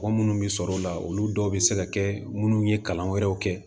Mɔgɔ munnu bɛ sɔrɔ o la olu dɔw bɛ se ka kɛ minnu ye kalan wɛrɛw kɛ